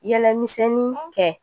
Yɛlɛmisɛnnin kɛ